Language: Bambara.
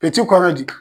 kɔrɔ di